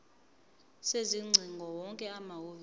sezingcingo wonke amahhovisi